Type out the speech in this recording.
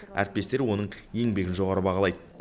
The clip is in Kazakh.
әріптестері оның еңбегін жоғары бағалайды